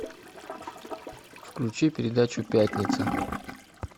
включи передачу пятница